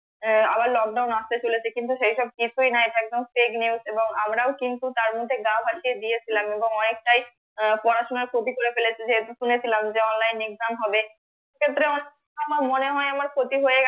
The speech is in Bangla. আহ আবার লকডাউন আস্তে চলেছে কিন্তু সেসব কিছুই নাই একদম fake news এবং আমরা ওকিন্তু তার মধ্যে গা ভাসিয়ে দিয়েছিলাম এবং অনেকটাই আহ পড়াশুনার খাঁটি করে ফেলেছিলম্ যে online exam হবে অনেক আমার মনে হয় আমার ক্ষতি হয়ে গেছে